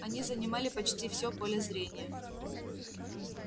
они занимали почти всё поле зрения